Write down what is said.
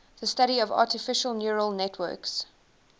the study of artificial neural networks